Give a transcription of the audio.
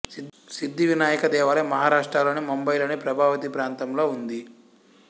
సిద్ధి వినాయక దేవాలయం మహారాష్ట్ర లోని ముంబయి లోని ప్రభావతి ప్రాంతంలో ఉంది